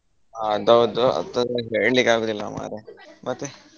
ಹಾ ಅದ್ಹೌ ದು ಹೆಂಗ ಅಂತ ಹೇಳಲಿಕ್ಕೆ ಆಗುದಿಲ್ಲ ಮಾರಾಯಾ ಮತ್ತೆ.